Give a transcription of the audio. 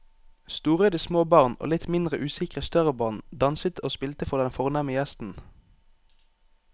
Storøyde små barn og litt mindre usikre større barn danset og spilte for den fornemme gjesten.